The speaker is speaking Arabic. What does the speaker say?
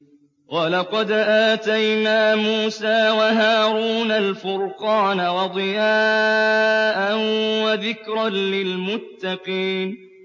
وَلَقَدْ آتَيْنَا مُوسَىٰ وَهَارُونَ الْفُرْقَانَ وَضِيَاءً وَذِكْرًا لِّلْمُتَّقِينَ